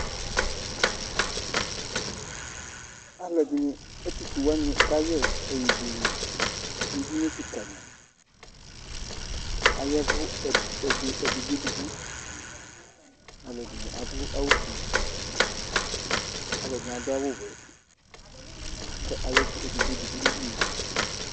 Alu ɛdini ɛtufue wani kayɛ ɛyuibuele nu ɛdini kika di Aya ɛvu ɛdigbo ɛdigbo Alu ɛdini adu awu ɔfue alu ɛdini adu awu ɔwɛ ku aya ɛvu nu edigbo edigbo